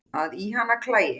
að í hana klæi